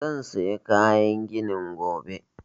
Zan saya kayan ginin gobe